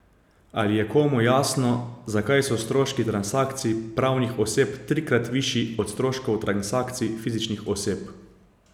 Ali je komu jasno, zakaj so stroški transakcij pravnih oseb trikrat višji od stroškov transakcij fizičnih oseb?